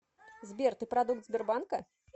сбер ты продукт сбербанка